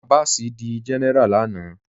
Abás dí géneráá lànà